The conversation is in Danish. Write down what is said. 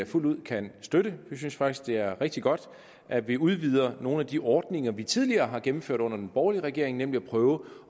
fuldt ud kan støtte vi synes faktisk at det er rigtig godt at vi udvider nogle af de ordninger vi tidligere har gennemført under den borgerlige regering nemlig at prøve